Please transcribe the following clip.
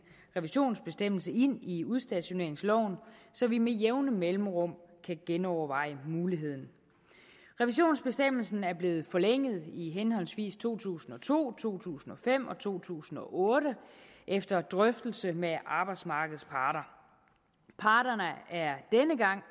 revisionsbestemmelse ind i udstationeringsloven så vi med jævne mellemrum kan genoverveje muligheden revisionsbestemmelsen er blevet forlænget i henholdsvis to tusind og to to tusind og fem og to tusind og otte efter drøftelse med arbejdsmarkedets parter parterne er